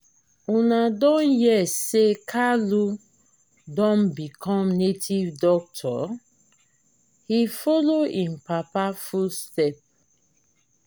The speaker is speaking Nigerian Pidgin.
una don hear say kalu don become native doctor? he follow im papa footstep.